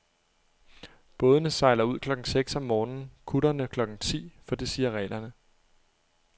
Bådene sejler ud klokken seks om morgenen, kutterne klokken ti, for det siger reglerne.